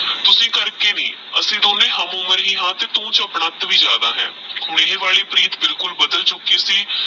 ਤੁਸੀਂ ਕਰਕੇ ਵੀ ਅਸੀਂ ਦੋਨੋ ਹਮ ਉਮਰ ਹੀ ਹਾਂ ਤੇਹ ਤੂ ਚੁਪ ਵੀ ਜਾਦਾ ਹੈ ਓਹ ਵਾਲੀ ਪ੍ਰੀਤ ਬਿਲਕੁਲ ਬਦਲ ਚੁਕੀ ਸੀ